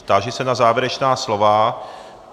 Táži se na závěrečná slova.